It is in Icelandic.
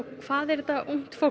hvað er þetta ungt fólk